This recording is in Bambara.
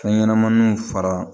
Fɛn ɲɛnɛmaninw fara